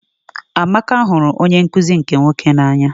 Amaka hụrụ onye nkụzi nke nwoke n'anya.